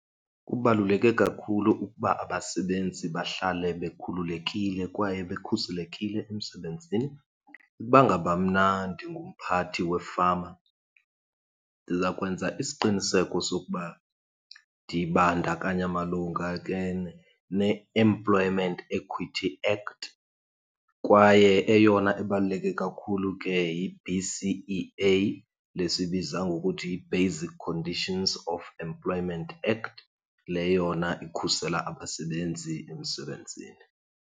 Kubaluleke kakhulu ukuba abasebenzi bahlale bekhululekile kwaye bekhuselekile emsebenzini. Ukuba ngaba mna ndingumphathi, wefama ndiza kwenza isiqiniseko sokuba ndibandakanya malunga ke neEmployment Equity Act. Kwaye eyona ibaluleke kakhulu ke yi-B_C_E_A, le siyibiza ngokuthi yi-Basic Conditions of Employment Act. Le yona ikhusela abasebenzi emsebenzini.